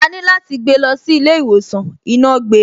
Àní láti gbé lọ sí ilé ìwòsàn, iná gbe.